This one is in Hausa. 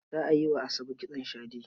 Za a yi wa Asabe kitson shade.